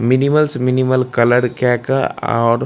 minimals minimal colour केए के और --